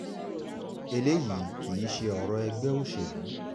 eléyìí kì í ṣe ọ̀rọ̀ ẹgbẹ́ òṣèlú